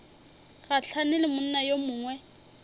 gahlane le monna yo mongwe